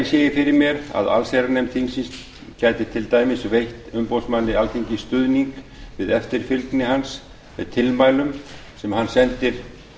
fyrir mér að allsherjarnefnd þingsins gæti til dæmis veitt umboðsmanni alþingis stuðning við eftirfylgni hans með tilmælum sem hann sendir